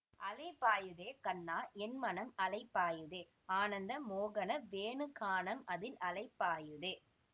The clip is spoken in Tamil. அலைபாயுதே கண்ணா என் மனம் அலைபாயுதே ஆனந்த மோகன வேணுகானம் அதில் அலைபாயுதே